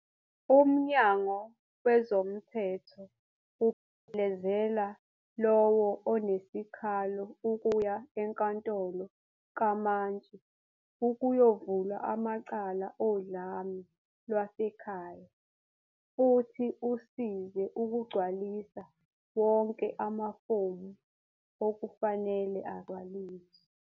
"Umnyango wezomthetho uphelezela lowo onesikhalo ukuya enkantolo kamantshi ukuyovula amacala odlame lwasekhaya futhi usize ukugcwalisa wonke amafomu okufanele agcwaliswe."